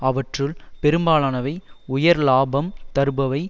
அவற்றுள் பெரும்பாலானவை உயர் லாபம் தருபவை